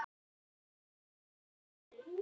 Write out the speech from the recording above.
Elsku Guðni minn.